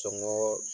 Sɔngɔ